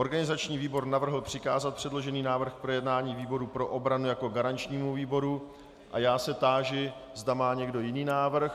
Organizační výbor navrhl přikázat předložený návrh k projednání výboru pro obranu jako garančnímu výboru a já se táži, zda má někdo jiný návrh.